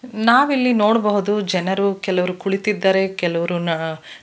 ನಾವಿಲ್ಲಿ ನೋಡಬಹುದು ಜನರು ಕೆಲವ್ರು ಕುಳಿತಿದ್ದಾರೆ ಕೆಲವರು ನಾ--